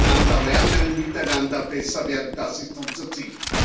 Voneinander lernen, miteinander besser werden das ist unser Ziel.